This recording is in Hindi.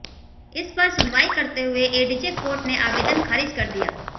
इस पर सुनवाई करते हुए एडीजे कोर्ट ने आवेदन खारिज कर दिया